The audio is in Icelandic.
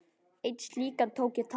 Einn slíkan tók ég tali.